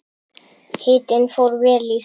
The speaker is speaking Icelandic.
Hitinn fór vel í þau.